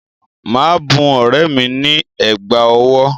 Màá bun ọ̀rẹ́ mi ní ẹ̀gbà ọwọ́